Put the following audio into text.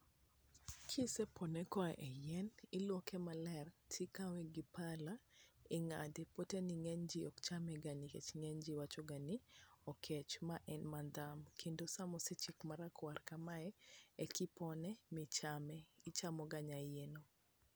kisepone koa e yien iluoke maler tikawe gi pala ing'ade ,poteni ng'eny ji ok cham ga nikech ng'eny ji wacho ga ni okech ,ma en madam kendo sama osechiek makwar kamae eki pone michame ichamo ga nya iyeno.